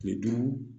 Kile duuru